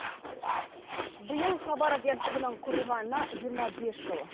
биыл хабар агентігінің құрылғанына жиырма бес жыл